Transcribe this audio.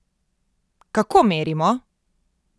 Kako merimo?